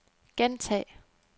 gentag